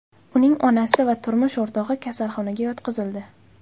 Uning onasi va turmush o‘rtog‘i kasalxonaga yotqizildi.